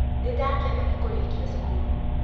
Nĩ ndakena nĩ kũrĩkia cukuru.